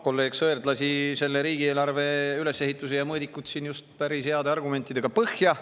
Kolleeg Sõerd lasi just selle riigieelarve ülesehituse ja mõõdikud – päris heade argumentidega – põhja.